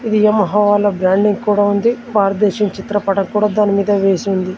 ఇది యమహా వాళ్ళ బ్రాండింగ్ కూడా ఉంది భారతదేశం చిత్రపటం కూడా దానిమీద వేసి ఉంది.